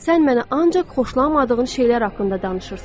Sən mənə ancaq xoşlamadığın şeylər haqqında danışırsan.